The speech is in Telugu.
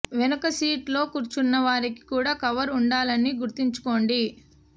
వెనుక సీట్ లో కూర్చున్న వారికి కూడా కవర్ ఉండాలని గుర్తుంచుకోండి